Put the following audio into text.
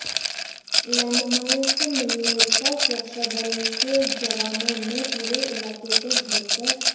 landmines मिलने पर सुरक्षाबल के जवानों ने पूरे इलाके को घेर कर